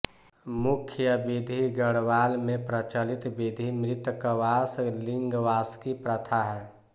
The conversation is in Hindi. मुख्य विधि गढ़वाल में प्रचलित विधि मृतकवास लिंगवासकी प्रथा है